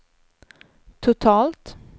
totalt